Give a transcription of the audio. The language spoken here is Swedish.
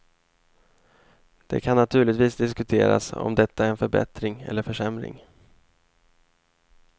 Det kan naturligtvis diskuteras om detta är en förbättring eller försämring.